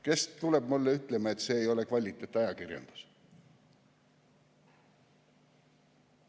Kes tuleb mulle ütlema, et see ei ole kvaliteetajakirjandus?